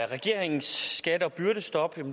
regeringens skatte og byrdestop